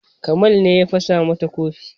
Kamal ne ya fasa mata kofi